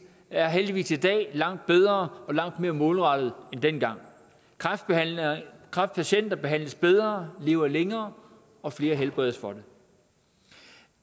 er heldigvis i dag langt bedre og langt mere målrettet end dengang kræftpatienter behandles bedre lever længere og flere helbredes for det